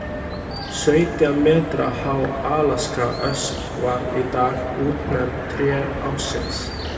Sautján metra há alaskaösp var í dag útnefnd tré ársins.